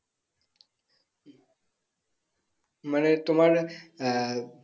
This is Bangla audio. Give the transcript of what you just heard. মানে তোমার আহ